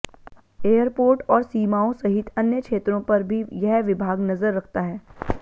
airport और सीमाओं सहित अन्य क्षेत्रों पर भी यह विभाग नजर रखता है